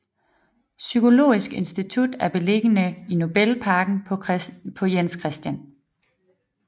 Psykologisk Institut er beliggende i Nobelparken på Jens Chr